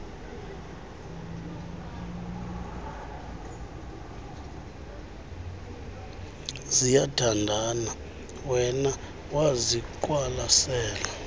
ziyathandana wema waziqwalasela